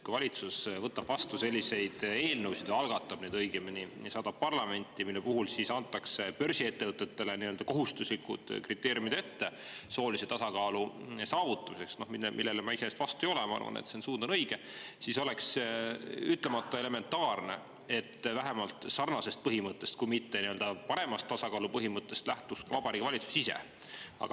Kui valitsus algatab ja saadab parlamenti selliseid eelnõusid, mille puhul börsiettevõtetele antakse ette n-ö kohustuslikud kriteeriumid soolise tasakaalu saavutamiseks – selle vastu ma iseenesest ei ole, ma arvan, et see suund on õige –, siis oleks ütlemata elementaarne, et sarnasest põhimõttest, kui mitte paremast tasakaalu põhimõttest lähtuks ka Vabariigi Valitsus ise.